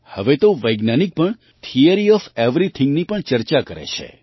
હવે તો વૈજ્ઞાનિક પણ થિયરી ઑફ એવરીથિંગની પણ ચર્ચા કરે છે